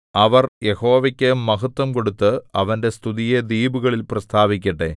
അവർ യഹോവയ്ക്കു മഹത്ത്വം കൊടുത്ത് അവന്റെ സ്തുതിയെ ദ്വീപുകളിൽ പ്രസ്താവിക്കട്ടെ